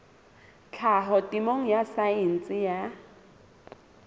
tlhaho temeng ya saense ya